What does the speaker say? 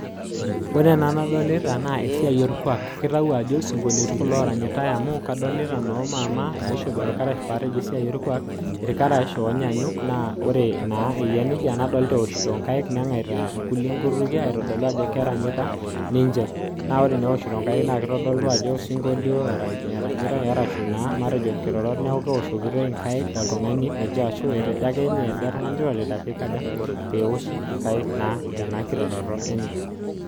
ore ena nadolita naa esiai orkuaak amuu kadoolita ajo eeta irkarash oonyaanyuk neengaita sii nkulie nkutukienitoki sii aaku kelio anaa keranyita sii